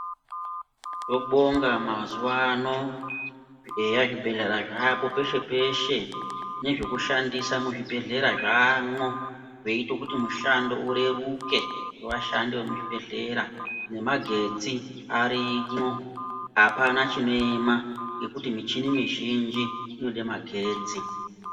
Tobonga mazuva ano eya zvibhedhelera zvaapo peshe peshe nezvekushandisa muzvibhedhlera zvaamwo zvoite kuti mushando ureruke wevashandi vemuzvibhedhlera nemagetsi arimwo apana chinoema nekuti mishini mizhinji inode magetsi.